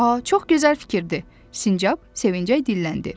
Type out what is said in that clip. A, çox gözəl fikirdir, sincab sevinclə dilləndi.